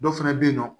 Dɔw fana bɛ yen nɔ